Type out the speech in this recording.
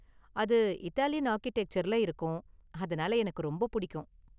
அது இத்தாலியன் ஆர்க்கிடெக்சர்ல இருக்கும், அதனால எனக்கு ரொம்ப பிடிக்கும்.